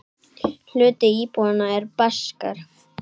Hluti íbúanna er Baskar.